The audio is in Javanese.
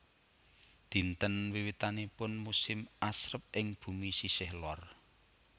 Dinten wiwitanipun musim asrep ing bumi sisih lor